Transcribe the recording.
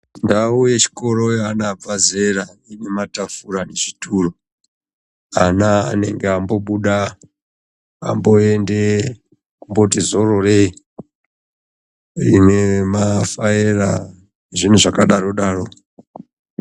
Ndau yechikoro yeana abva zera, ine matafura ,zvituro. Ana anenge ambobuda ,amboende kooti zororei, ine mafaera nezvinhu zvakadaro daro.